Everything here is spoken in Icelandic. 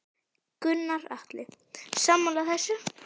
Gunnar Atli: Sammála þessu?